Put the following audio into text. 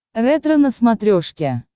ретро на смотрешке